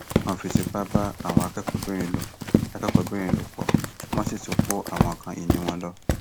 wọn fi tipa bá àwọn akẹkọọbìnrin lò akẹkọọbìnrin lò pọ wọn sì tún kó àwọn nǹkan ìní wọn lọ